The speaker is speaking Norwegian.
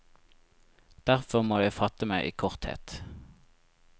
Derfor må jeg fatte meg i korthet.